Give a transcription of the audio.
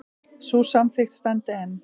Sú samþykkt standi enn.